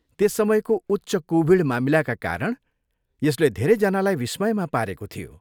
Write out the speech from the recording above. त्यस समयको उच्च कोभिड मामिलाका कारण यसले धेरैजनालाई विस्मयमा पारेको थियो।